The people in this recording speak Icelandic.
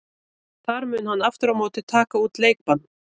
Þar mun hann aftur á móti taka út leikbann.